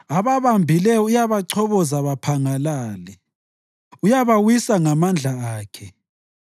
Ababambileyo uyabachoboza baphangalale; uyabawisa ngamandla akhe.